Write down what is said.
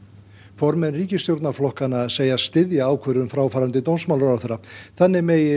formenn ríkisstjórnarflokkanna segjast styðja ákvörðun fráfarandi dómsmálaráðherra þannig megi